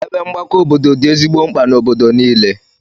Ebe ọgbakọ obodo dị ezigbo mkpa n'obodo niile.